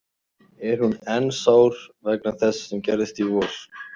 Er hún enn sár vegna þess sem gerðist í vor?